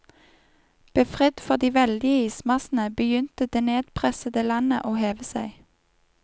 Befridd for de veldige ismassene, begynte det nedpressede landet å heve seg.